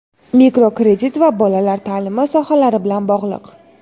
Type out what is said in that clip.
mikrokredit va bolalar ta’limi sohalari bilan bog‘liq.